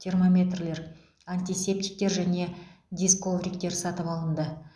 термометрлер антисептиктер және дизковриктер сатып алынды